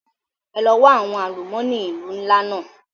Ẹ lọ wa àwọn àlùmọ́nì ìlú ńlá náà!